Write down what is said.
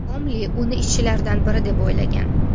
Komli uni ishchilardan biri deb o‘ylagan.